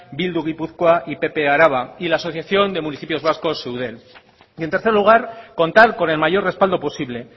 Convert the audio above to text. bildu gipuzkoa y pp araba y la asociación de municipios vascos eudel y en tercer lugar contar con el mayor respaldo posible